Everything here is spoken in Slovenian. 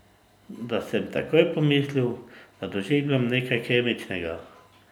Da sem takoj pomislil, da doživljam nekaj kemičnega.